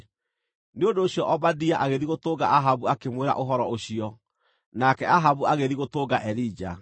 Nĩ ũndũ ũcio Obadia agĩthiĩ gũtũnga Ahabu akĩmwĩra ũhoro ũcio, nake Ahabu agĩthiĩ gũtũnga Elija.